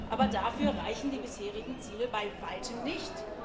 Aber dafür reichen die bisherigen Ziele bei weitem nicht.